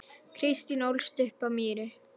Kristín ólst upp á Mýri.